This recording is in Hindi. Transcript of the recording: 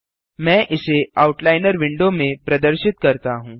मैं इसे आउटलाइनर विंडो में प्रदर्शित करता हूँ